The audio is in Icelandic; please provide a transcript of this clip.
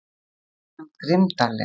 Svo sagði hann grimmdarlega